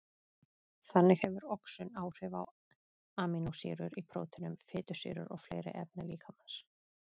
Þannig hefur oxun áhrif á amínósýrur í próteinum, fitusýrur og fleiri efni líkamans.